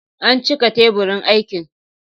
An cika teburin aikin.